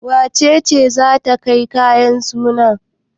Wace ce za ta kai kayan suna?